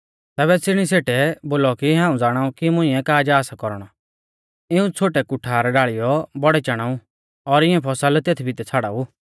तैबै तिणी सेठै बोलौ कि हाऊं ज़ाणाऊ कि मुंइऐ का जा सा कौरणौ इऊं छ़ोटै कुठार ढाल़ीयौ बौड़ै चाणाऊ और इऐं फसल तेथ भितै छ़ाड़ाऊ